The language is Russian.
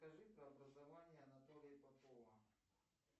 скажи про образование анатолия попова